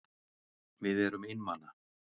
Við erum einmana.